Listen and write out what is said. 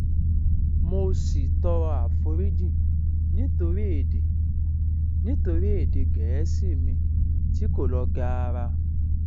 mo sì tọrọ àforíjì nítorí èdè nítorí èdè gẹẹsì mi tí kò lọ gaara